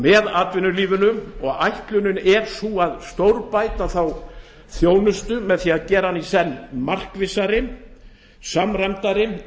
með atvinnulífinu ætlunin er að stórbæta þá þjónustu með því að gera hana í senn markvissari samræmdari